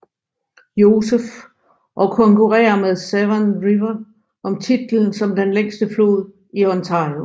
Joseph og konkurerrer med Severn River om titlen som den længste flod i Ontario